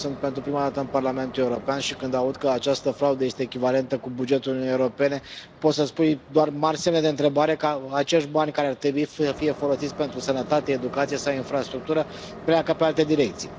Eu sunt pentru prima dată în Parlamentul European și când auzi că această fraudă este echivalentă cu bugetul Uniunii Europene, poți să îți pui doar mari semne de întrebare dacă acești bani care ar trebui să fie folosiți pentru sănătate, educație sau infrastructură pleacă în alte direcții.